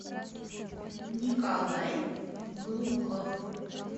николай глухов